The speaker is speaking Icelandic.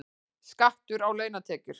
Skattar á launatekjur